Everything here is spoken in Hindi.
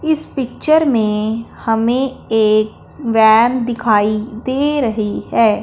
इस पिक्चर में हमें एक वैन दिखाई दे रही है।